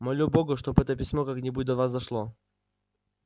молю бога чтоб это письмо как-нибудь до вас дошло